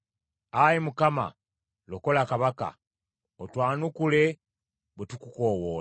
Ayi Mukama , lokola kabaka, otwanukule bwe tukukoowoola.